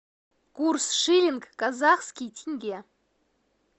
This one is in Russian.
курс шиллинг казахский тенге